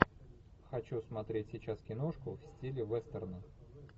хочу смотреть сейчас киношку в стиле вестерна